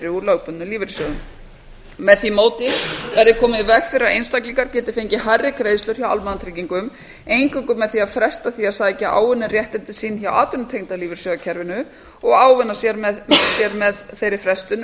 úr lögbundnum lífeyrissjóðum með því móti verði komið í veg fyrir að einstaklingar geti fengið hærri greiðslur hjá almannatryggingum eingöngu með því að fresta því að sækja áunninn réttindi sín hjá atvinnutengda lífeyrissjóðakerfinu og ávinna sér með þeirri frestun um